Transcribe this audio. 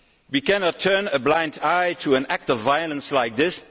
We cannot turn a blind eye to an act of violence like this.